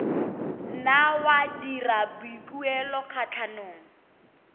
nna wa dira boikuelo kgatlhanong